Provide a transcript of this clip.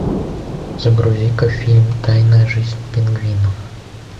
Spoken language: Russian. загрузи ка фильм тайная жизнь пингвинов